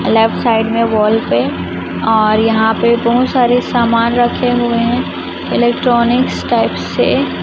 left side मे wall पे और यहां पे बहुत सारे सामान रखे हुए है इलेक्ट्रॉनिक्स टाइप से--